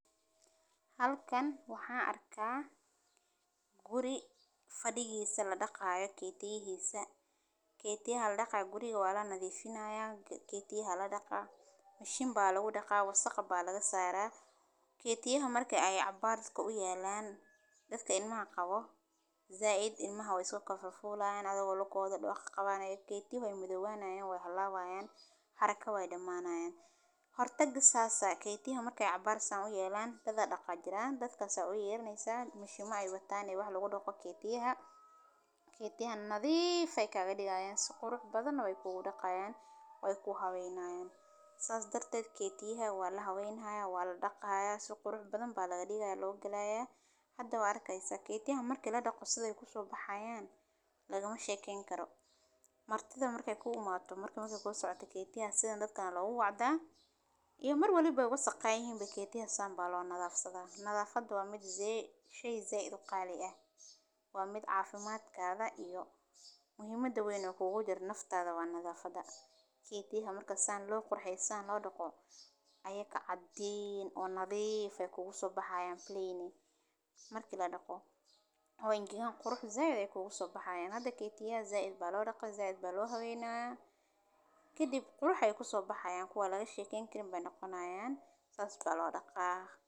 Halkan waxaa arkaa guri fadhiyihiisa la dhaqaayo keytiyihiisa. Keytiya ha la dhaqaa guriga waa la nadiifinaya. G-keytiya ha la dhaqaa bishan baa lagu dhaqaago waqo baalaga saara. Keytiyaha markay ay cabbaar ka u yeelaan dadka in ma qabo. Zaaid in mahaway isu ka fafuulaan adoo loo koodho dhoo ka qabaan. Keytiyuhu midawaanaya way halawaya haraka way dhamaanayaan. Hortagga saasa keyti markay cabbaarsan u yeelaan dad a dhaqa jiraan, dadkaas u yeernaysa mushuma ay wataan yahaa lagu dhaqo keytiyaha. Keytiyahan nadiifay ka geliya suquur badana way ku dhaqaan way ku habeynaya. Saas darted keytiyaha waa la haweynaa waa la dhaqaa suquur badan ba laga dhigaa loo galayaa. Xadda waarkaysa keytiyaha marki la dhaqo sida ay ku soo baxayaan lagama sheekeen karo. Martida markay ku umarto markii markay kugu socota keytiya sida dadkaan lagu wacdaa iyo marwaliba waa saqaayay in keytiya saan baal loo nadaafsado. Nadaafadu waa mid zeey shey zaad u qaali ah. Waa mid caafimaad ka ah da iyo muhimada waynu kugu jar naftaada waa nadaafada. Keytiyaha marka saan loo qurxaysaan loo dhaqo ayay ka caddayn oo nadiifay kuugu so baxayaan 3d marki la dhaqo. Hoono qurux zaad ay kuugu so baxaya keentaa keytiya zaad ba loo dhaqay zaad ba loo haweynaa. Ki dib qurx ah ku soo baxaya kuwa laga sheekin karin ba dhaqanaya saas ba loo dhaqaa.